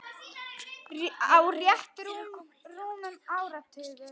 Á rétt rúmum áratug.